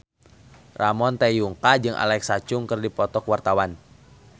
Ramon T. Yungka jeung Alexa Chung keur dipoto ku wartawan